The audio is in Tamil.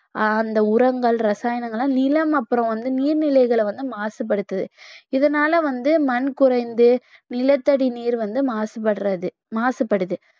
அந்த உரங்கள் ரசாயனங்கள் எல்லாம் நிலம் அப்புறம் வந்து நீர்நிலைகளை வந்து மாசுபடுத்துது இதனால வந்து மண் குறைந்து நிலத்தடி நீர் வந்து மாசுபடுறது மாசுபடுது